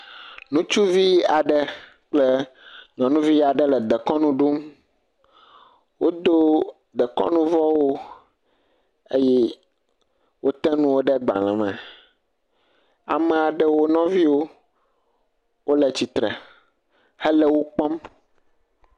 nutsuvi aɖe kple nyɔnuvi aɖe le dekɔnu ɖum wodó dekɔnu vɔwo eye wó te nuwo ɖe gbalē me ame aɖewo nɔviwo wóle tsitre hele wokpɔm